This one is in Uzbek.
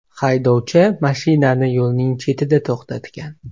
Haydovchi mashinani yo‘lning chetida to‘xtatgan.